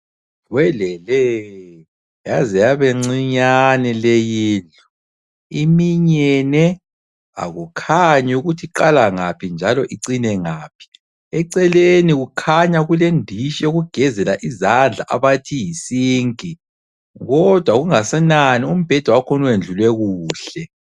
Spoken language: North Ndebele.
Welele! yaze yabencinyane leyindlu, iminyene, akukhanyi ukuthi iqala ngaphi njalo icine ngaphi. Eceleni kukhanya kulendishi yokugezela izandla abathi yisinki, kodwa kungasenani umbheda wakhona uyendlulwe kuhle.